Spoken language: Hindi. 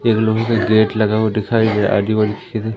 एक लोहे का गेट लगा हुआ दिखाई दे रहा आजू बाजू